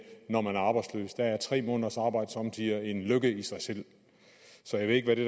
når man er arbejdsløs for der er tre måneders arbejde somme tider en lykke i sig selv så jeg ved ikke hvad det